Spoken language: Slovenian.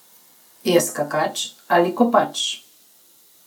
Je skakač ali kopač?